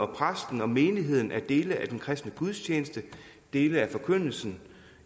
præsten og menigheden er dele af den kristne gudstjeneste dele af forkyndelsen